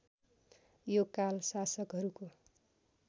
यो काल शासकहरूको